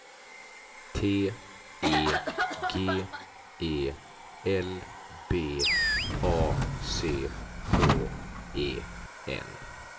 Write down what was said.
T E G E L B A C K E N